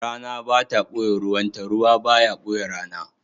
Rana ba ta ɓoye ruwanta, ruwa ba ya ɓoye rana.